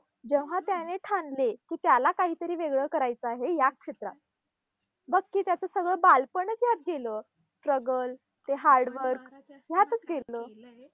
जेव्हा त्याने ठाणले की त्याला काही तरी वेगळं करायचं आहे या क्षेत्रात. बघ की त्याचं सगळं बालपणच यात गेलं. struggle ते hard work यातच गेलं.